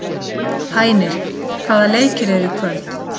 Hænir, hvaða leikir eru í kvöld?